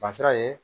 Dansara ye